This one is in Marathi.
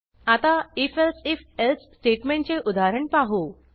आता if elsif एल्से स्टेटमेंटचे उदाहरण पाहू